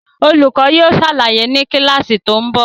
Olùkọ́ yóò ṣàlàyé ni kíláàsì tó ń bọ̀